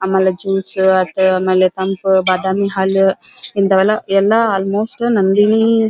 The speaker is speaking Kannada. ಆಮೇಲೆ ಜ್ಯೂಸು ಅತು ಆಮೇಲೆ ತಂಪ ಬಾದಾಮಿ ಹಾಲು ಇಂಥವೆಲ್ಲ ಎಲ್ಲ ನಂದಿನಿ --